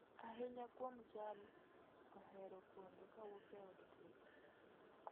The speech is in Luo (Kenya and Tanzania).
Ahinya kuom jal ohero pondo kawuok e od twech